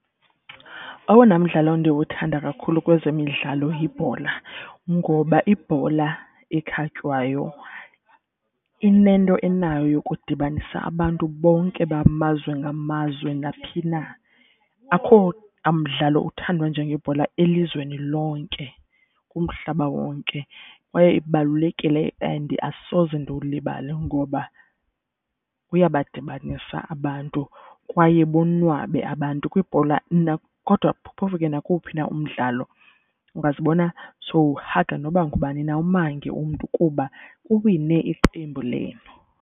Owona mdlalo ndiwuthanda kakhulu kwezemidlalo yibhola ngoba ibhola ekhatywayo inento enayo yokudibanisa abantu bonke bamazwe ngamazwe naphi na. Akho mdlalo uthandwa njengebhola elizweni lonke kumhlaba wonke, kwaye ibalulekile and asoze ndiwulibale ngoba uyabadibanisa abantu. Kwaye bonwabe abantu kwibhola kodwa phofu ke nakowuphi na umdlalo ungazibona sowuhaga noba ngubani na umange umntu kuba kuwine iqembu lenu.